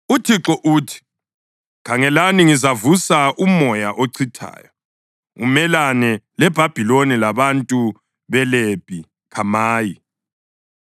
UThixo uthi: “Khangelani, ngizavusa umoya ochithayo umelane leBhabhiloni labantu beLebhi Khamayi.